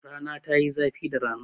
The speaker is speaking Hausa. Rana ta yin zafi da rana.